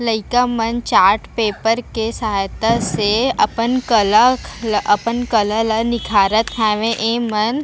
लइका मन chart paper के सहायता से अपन कला ल अपन कला ला निखारत हावे ए मन --